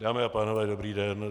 Dámy a pánové, dobrý den.